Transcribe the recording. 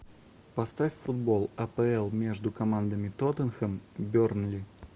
поставь футбол апл между командами тоттенхэм бернли